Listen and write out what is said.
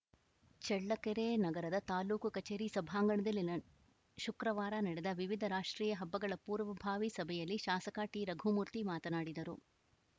ಚಳ್ಳಕೆರೆ ನಗರದ ತಾಲೂಕು ಕಚೇರಿ ಸಭಾಂಗಣದಲ್ಲಿ ನ ಶುಕ್ರವಾರ ನಡೆದ ವಿವಿಧ ರಾಷ್ಟ್ರೀಯ ಹಬ್ಬಗಳ ಪೂರ್ವಭಾವಿ ಸಭೆಯಲ್ಲಿ ಶಾಸಕ ಟಿರಘುಮೂರ್ತಿ ಮಾತನಾಡಿದರು